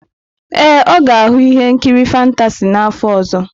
Ee, ọ ga-ahụ ihe nkiri fantasị n'afọ ọzọ.